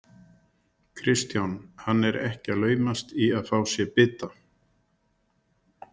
Kristján: Hann er ekki að laumast í að fá sér bita?